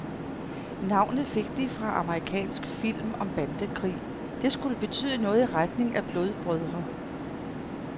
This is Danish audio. Navnet fik de fra en amerikansk film om bandekrig, det skulle betyde noget i retning af blodbrødre.